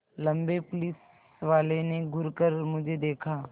लम्बे पुलिसवाले ने घूर कर मुझे देखा